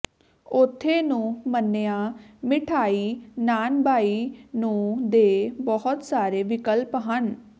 ਉੱਥੇ ਨੂੰ ਮੰਨਿਆ ਮਿਠਆਈ ਨਾਨਬਾਈ ਨੂੰ ਦੇ ਬਹੁਤ ਸਾਰੇ ਵਿਕਲਪ ਹਨ